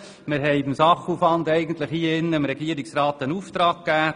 Wir haben dem Regierungsrat betreffend den Sachaufwand einen Auftrag erteilt.